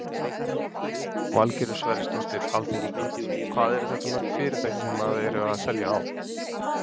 Valgerður Sverrisdóttir, alþingismaður: Hvað eru þetta mörg fyrirtæki sem að eru að selja ál?